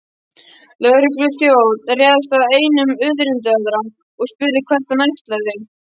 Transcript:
Lögregluþjónn réðst að einum undirritaðra og spurði hvert hann ætlaði.